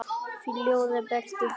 Fljúgðu burt í friði.